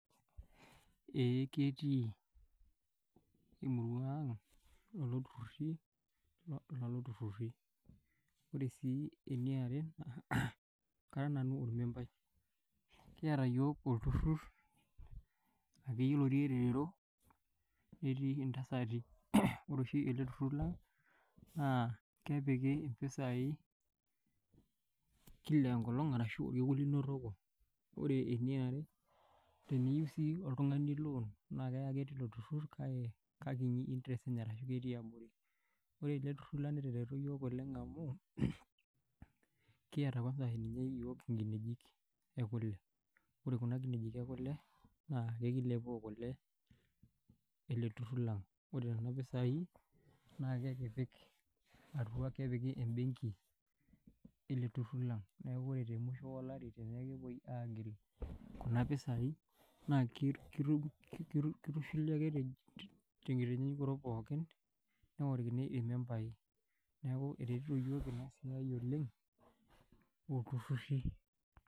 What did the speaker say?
Eeh ketii emurua ang', lelo turruri. Wore sii eniare, kara nanu ormembai. Kiata iyiok olturrur, akeyie otii elelero, netii intasati. Wore oshi ele turrur lang, naa kepiki impisai kila enkolong' arashu orkekun linotoko. Wore eniare, teneyiou sii oltungani loan kake kekiti interest enye arashu ketii abori. Wore ele turrur lang netereto iyiok oleng' amu, kiata kwansa ninye iyiok inkinejik ekule. Wore kuna kinejik ekule, naa ekilepoo kule eleturrur lang. Wore niana pisai, naa kekipik atua, kepiki ebenki ele turrur lang. Neeku wore temusho olari tene ake epoi aagil kuna pisai, naa kitushuli ake tenkitanyanyukoto pookin, neorokini irmembai. Neeku eretito iyiok inia siai oleng', olturruri.